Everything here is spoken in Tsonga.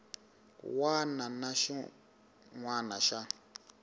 wana na xin wana xa